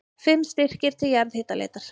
Fimm styrkir til jarðhitaleitar